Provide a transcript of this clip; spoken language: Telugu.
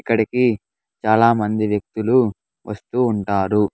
ఇక్కడికి చాలామంది వ్యక్తులు వస్తూ ఉంటారు.